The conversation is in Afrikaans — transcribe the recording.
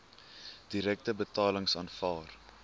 direkte betalings aanvaar